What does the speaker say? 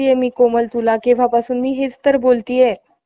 त्याकाळी Deccan education society हि नवा~ नावाजलेली संस्था होती. टिळक~ टिळक आगरकर यांचे वलय,